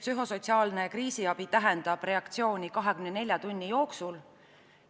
Psühhosotsiaalne kriisiabi tähendab reageerimist 24 tunni jooksul.